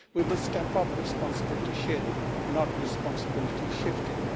We must step up the responsibility sharing, not responsibility shifting.